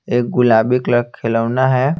एक गुलाबी कलर खिलौना है।